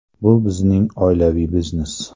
Bu bizning oilaviy biznes.